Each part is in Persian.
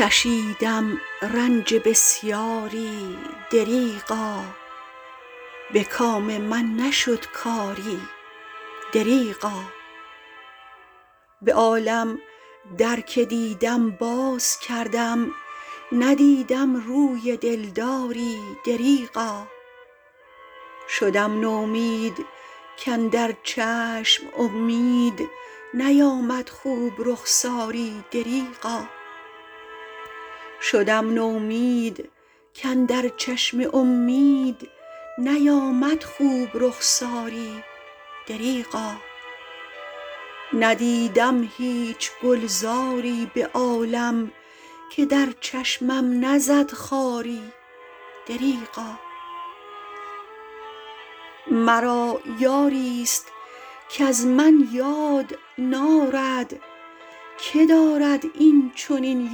کشیدم رنج بسیاری دریغا به کام من نشد کاری دریغا به عالم در که دیدم باز کردم ندیدم روی دلداری دریغا شدم نومید کاندر چشم امید نیامد خوب رخساری دریغا ندیدم هیچ گلزاری به عالم که در چشمم نزد خاری دریغا مرا یاری است کز من یاد نارد که دارد این چنین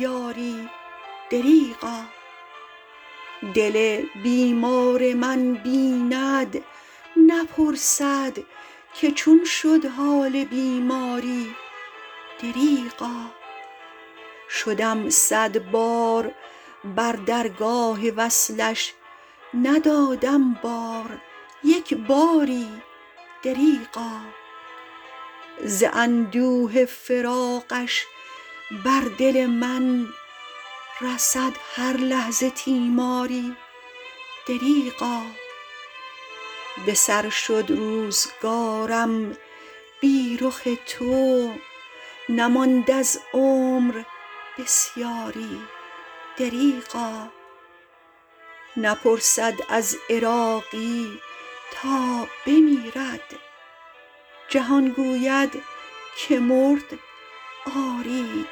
یاری دریغا دل بیمار من بیند نپرسد که چون شد حال بیماری دریغا شدم صدبار بر درگاه وصلش ندادم بار یک باری دریغا ز اندوه فراقش بر دل من رسد هر لحظه تیماری دریغا به سر شد روزگارم بی رخ تو نماند از عمر بسیاری دریغا نپرسد از عراقی تا بمیرد جهان گوید که مرد آری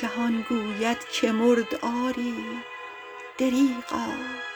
دریغا